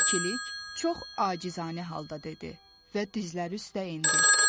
İkilik çox acizanə halda dedi və dizləri üstə endi.